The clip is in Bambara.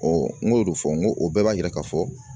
n y'o de fɔ n go o bɛɛ b'a yira ka fɔ